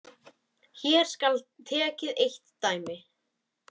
Hér skal tekið eitt dæmi.